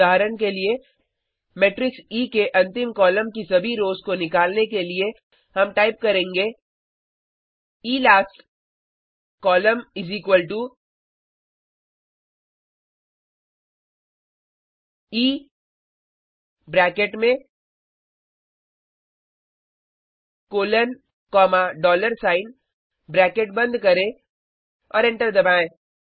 उदाहरण के लिए मेट्रिक्स ई के अंतिम कॉलम की सभी रोज़ को निकालने के लिए हम टाइप करेंगे इलास्ट कोल ई ब्रैकेट में colon comma dollar sign bracket बंद करें और एंटर दबाएं